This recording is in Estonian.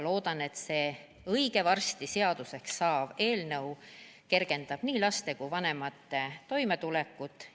Loodan, et see õige varsti seaduseks saav eelnõu kergendab nii laste kui ka vanemate toimetulekut.